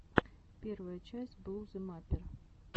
первая часть блузы маппер